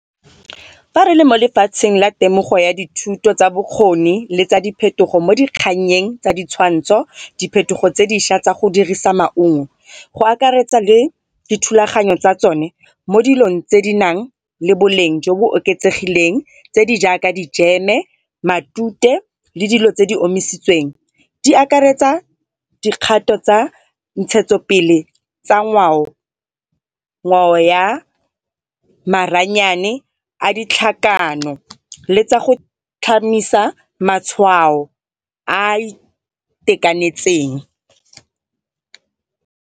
Fa re le mo lefatsheng la temogo ya dithuto tsa bokgoni le tsa diphetogo mo dikgangnyeng tsa ditshwantsho, diphetogo tse dišwa tsa go dirisa maungo go akaretsa le dithulaganyo tsa tsone mo dilong tse di nang le boleng jo bo oketsegileng tse di jaaka dijeme, matute le dilo tse di omisitsweng. Di akaretsa dikgato tsa ntshetso pele tsa ngwao, ngwao ya maranyane a ditlhakano le tsa go tlhamisa matshwao a itekanetseng.